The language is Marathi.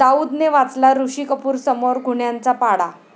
दाऊदने वाचला ऋषी कपूरसमोर गुन्ह्यांचा पाढा